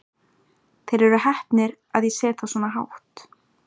Þeir eru heppnir að ég set þá svona hátt.